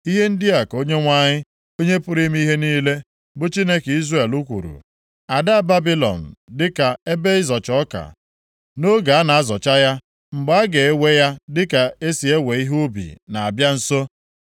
Ihe ndị a ka Onyenwe anyị, Onye pụrụ ime ihe niile, bụ Chineke Izrel kwuru, “Ada Babilọn dịka ebe ịzọcha ọka, nʼoge a na-azọcha ya. Mgbe a ga-ewe ya dịka e si ewe ihe ubi na-abịa nso.”